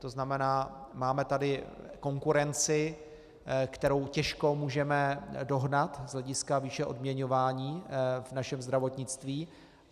To znamená, máme tady konkurenci, kterou těžko můžeme dohnat z hlediska výše odměňování v našem zdravotnictví.